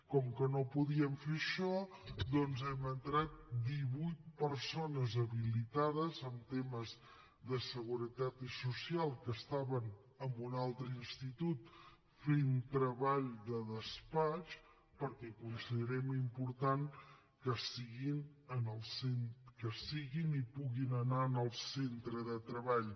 com que no podíem fer això doncs hi hem entrat divuit persones habilitades en temes de seguretat social que estaven en un altre institut fent treball de despatx perquè considerem important que siguin i puguin anar al centre de treball